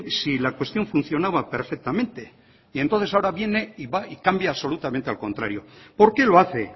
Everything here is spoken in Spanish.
si la cuestión funcionaba perfectamente y entonces ahora viene y va y cambia absolutamente al contrario por qué lo hace